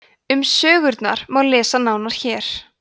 um sögurnar má lesa nánar hér